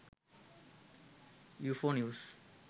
ufo news